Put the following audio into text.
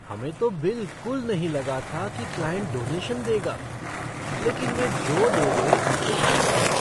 हमें तो बिलकुल नहीं लगा था कि क्लाइंट डोनेशन देगा, लेकिन वे जो दे दें, वह ठीक है।